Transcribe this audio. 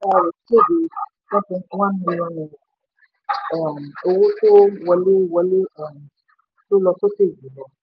kéde ten point one million naira owó tó wọlé wọlé um tó lọ sókè jù um lọ.